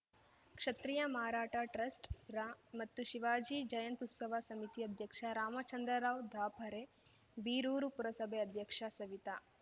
ಕ್ಷತ್ರಿಯ ಮಾರಾಠ ಟ್ರಸ್ಟ್‌ರಾ ಮತ್ತು ಶಿವಾಜಿ ಜಯಂತ್ಯುತ್ಸವ ಸಮಿತಿ ಅಧ್ಯಕ್ಷ ರಾಮಚಂದ್ರರಾವ್‌ ಥಾಪರೆ ಬೀರೂರು ಪುರಸಭೆ ಅಧ್ಯಕ್ಷ ಸವಿತಾ